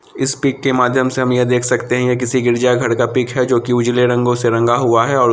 इस पिक के माध्यम से हम यह देख सकते है ये किसी गिरजा घर का पिक है जो कि उजले रंगों से रंगा हुआ है और --